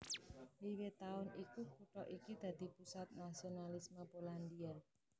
Wiwit taun iku kutha iki dadi pusat nasionalisme Polandia